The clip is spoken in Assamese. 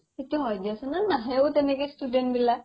সেইতো হয় দিয়াচোন আ নাহেও তেনেকে student বিলাক